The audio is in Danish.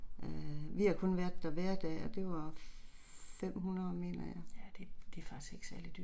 Øh vi har kun været der hverdage og det var 500 mener jeg